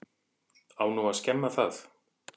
Á nú að skemma það?